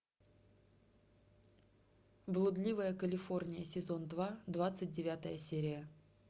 блудливая калифорния сезон два двадцать девятая серия